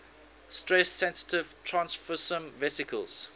stress sensitive transfersome vesicles